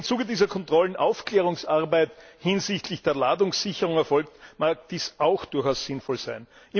Und wenn im Zuge dieser Kontrollen Aufklärungsarbeit hinsichtlich der Ladungssicherung erfolgt, mag dies auch durchaus sinnvoll sein.